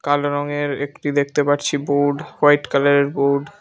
কালো রঙের একটি দেখতে পারছি বোর্ড হোয়াইট কালারের বোর্ড ।